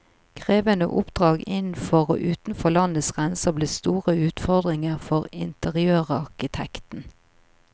Krevende oppdrag innenfor og utenfor landets grenser ble store utfordringer for interiørarkitekten.